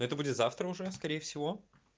это будет завтра уже скорее всего